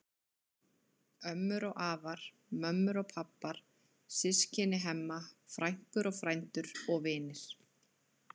Ömmur og afar, mömmur og pabbar, systkini Hemma, frænkur og frændur og vinir.